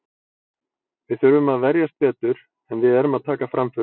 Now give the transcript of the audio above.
Við þurfum að verjast betur, en við erum að taka framförum.